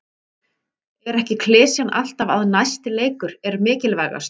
Er ekki klisjan alltaf að næsti leikur er mikilvægastur?